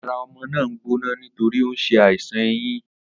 Ara o̩mo̩ náà ń gbóná nítorí ó ń s̩e àìsàn eyín